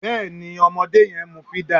Bẹ́ẹ̀ ni ọmọdé yẹn ń mú fídà